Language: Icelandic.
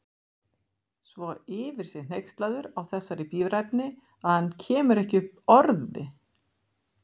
Svo yfir sig hneykslaður á þessari bíræfni að hann kemur ekki upp orði.